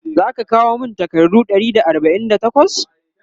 zaka kawo min takardu Ɗari da arbain da takwas?